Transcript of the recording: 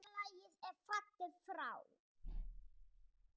Félagi er fallinn frá.